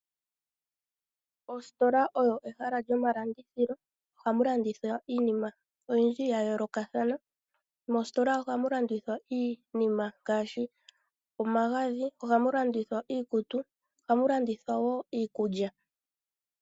Ositola olyo ehala lyomalandithilo. Oha mu landuthwa, iinima oyindji ya yoolokathana. Moositola oha mu landuthwa iinima ngaashi, omagadhi, oha mu landuthwa iikutu, oha mu landithwa woo iikulya.